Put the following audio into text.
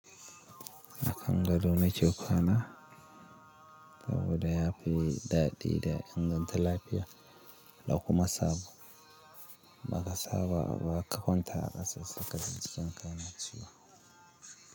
A kan gado nake kwana saboda ya fi daɗi da inganta lafiya, da kuma sabo ba ka sa ba ka kwanta a ƙasa sai ka ji jikinka yana ciwo.